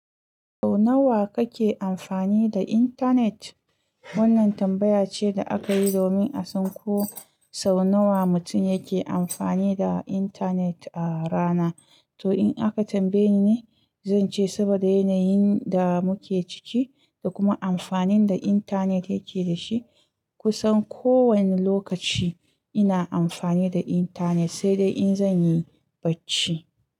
Sau nawa kake amfani da intanet? Wannan tambaya ce da aka yi domin a san ko sau nawa mutum yake amfani da intanet a rana. To in aka tambaye ni ne, zan ce saboda yanayin da muke ciki da kuma amfanin da intanet yake dashi, kusan kowane lokaci ina amfani da intanet, sai dai in zan yi bacci.